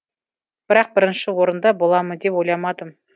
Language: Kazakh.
бірақ бірінші орында боламын деп ойламадым